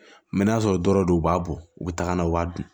n'a sɔrɔ dɔrɔn u b'a bɔ u bɛ taga na u b'a dun